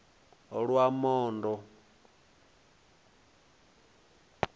lwamondo